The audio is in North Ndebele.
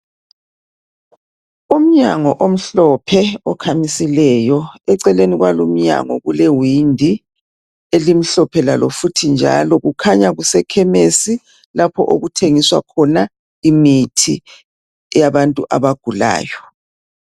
Umnyango omhlophe okhamisileyo eceleni kwalo umnyango kulewindi elimhlophe lalo futhi njalo kukhanya kuse khemesi lapho okuthengiswa khona imithi yabantu abagulayo.